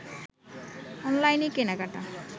অনলাইনে কেনাকাটা